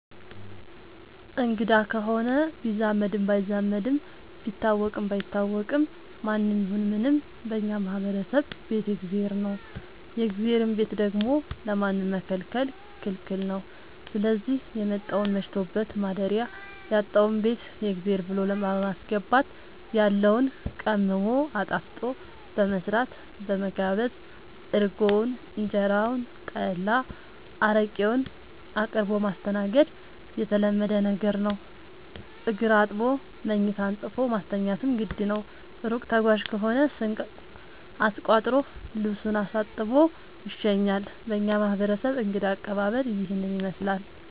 አንግዳ ከሆነ ቢዛመድም ባይዛመድም ቢታወቅም ባይታወቅም ማንም ይሁን ምንም በእኛ ማህበረሰብ ቤት የእግዜር ነው። የእግዜርን ቤት ደግሞ ለማንም መከልከል ክልክል ነው ስዚህ የመጣውን መሽቶበት ማደሪያ ያጣውን ቤት የእግዜር ብሎ በማስገባት ያለውን ቀምሞ አጣፍጦ በመስራት መጋበዝ እርጎውን እንጀራውን ጠላ አረቄውን አቅርቦ ማስተናገድ የተለመደ ነገር ነው። እግር አጥቦ መኝታ አንጥፎ ማስተኛትም ግድ ነው። እሩቅ ተጓዥ ከሆነ ስንቅ አስቋጥሮ ልሱን አሳጥቦ ይሸኛል። በእኛ ማህረሰብ እንግዳ አቀባሀል ይህንን ይመስላል።